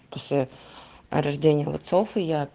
после рождения отцов и я